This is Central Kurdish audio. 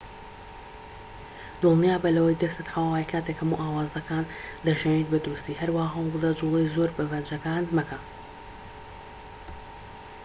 دڵنیابە لەوەی دەستت حەواوەیە کاتێك هەموو ئاوازەکان دەژەنیت بە دروستی هەروەها هەوڵبدە جوڵەی زۆر بە پەنجەکانت مەکە